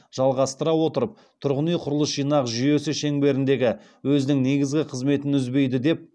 жалғастыра отырып тұрғын үй құрылыс жинақ жүйесі шеңберіндегі өзінің негізгі қызметін үзбейді деп